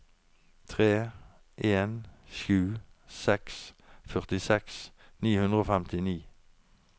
tre en sju seks førtiseks ni hundre og femtini